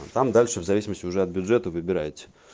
ну там дальше в зависимости уже от бюджета выбирайте